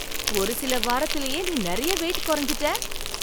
ஒரு சில வாரத்துலயே நீ நிறைய வெயிட் குறைஞ்சுட்ட!